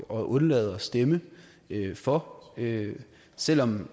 at undlade at stemme for selv om